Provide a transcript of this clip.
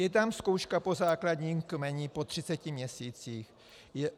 Je tam zkouška po základním kmeni po 30 měsících.